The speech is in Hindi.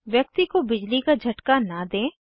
व्यक्ति को बिजली का झटका न दें